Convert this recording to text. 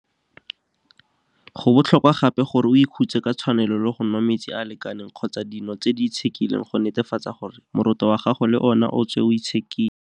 Go botlhokwa gape gore o ikhutse ka tshwanelo le go nwa metsi a a lekaneng kgotsa dino tse di itshekileng go netefatsa gore moroto wa gago le ona o tswe o itshekile.